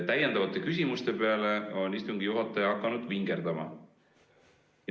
Täiendavate küsimuste peale on istungi juhataja hakanud vingerdama.